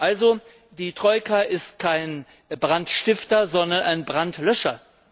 Also Die Troika ist kein Brandstifter, sondern ein Brandlöscher.